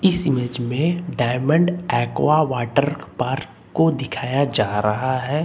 इस इमेज मे Diamond Aqua Water Park को दिखाया जा रहा है।